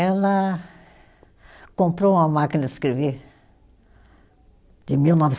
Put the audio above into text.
Ela comprou uma máquina de escrever de mil